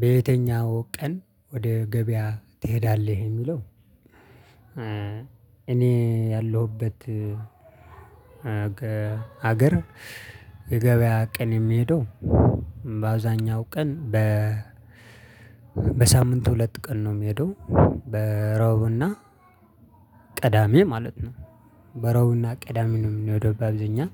በየትኛው ቀን ወደ ገበያ ትሄዳለህ? የሚለው እኔ ያለሁበት ሀገር የገበያ ቀን የምሄደው በአብዛኛው ቀን በሳምንት ሁለት ቀን ነው የምሄደው ረቡዕና ቅዳሜ ማለት ነው። በረቡዕና ቅዳሜ ነው የምንሄደው በአብዛኛው